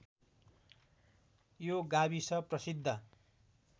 यो गाविस प्रसिद्ध